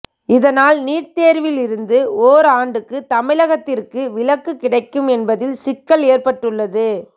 இதனால் நீட் தேர்வில் இருந்து ஓர் ஆண்டுக்கு தமிழகத்திற்கு விலக்கு கிடைக்கும் என்பதில் சிக்கல் ஏற்பட்டுள்ளது